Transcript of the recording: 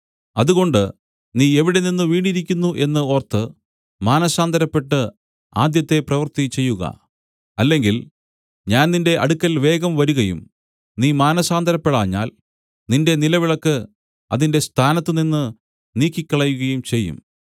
അതുകൊണ്ട് നീ എവിടെനിന്ന് വീണിരിക്കുന്നു എന്ന് ഓർത്തു മാനസാന്തരപ്പെട്ട് ആദ്യത്തെ പ്രവൃത്തി ചെയ്യുക അല്ലെങ്കിൽ ഞാൻ നിന്റെ അടുക്കൽ വേഗം വരുകയും നീ മാനസാന്തരപ്പെടാഞ്ഞതിനാൽ നിന്റെ നിലവിളക്ക് അതിന്റെ സ്ഥാനത്തുനിന്ന് നീക്കി കളയുകയും ചെയ്യും